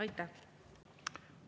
Aitäh!